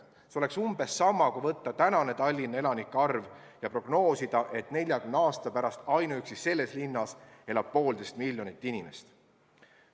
See on umbes sama, kui võtta tänane Tallinna elanike arv ja prognoosida, et 40 aasta pärast elab ainuüksi selles linnas poolteist miljonit inimest.